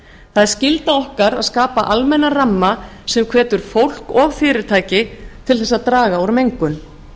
það er skylda okkar að skapa almennan ramma sem hvetur fólk og fyrirtæki til þess að draga úr mengun